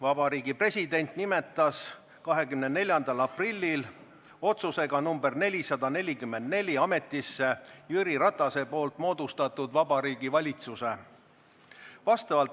Vabariigi President nimetas 24. aprillil oma otsusega nr 444 ametisse Jüri Ratase moodustatud Vabariigi Valitsuse.